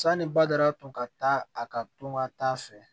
Sani bada tun ka taa a ka to ka taa fɛ